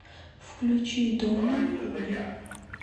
включи доно худи